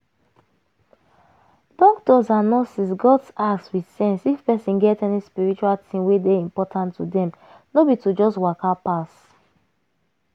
doctors and nurses gats ask with sense if person get any spiritual thing wey dey important to dem — no be to just waka pass.